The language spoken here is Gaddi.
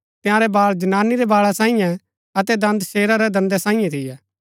तंयारै बाल जनानी रै बाळा सांईये अतै दंद शेरा रै दंदा सांईये थियै